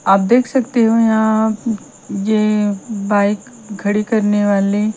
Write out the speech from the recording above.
आप देख सकते हों यहां ये बाइक खड़ी करने वाली--